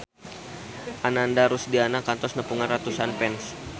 Ananda Rusdiana kantos nepungan ratusan fans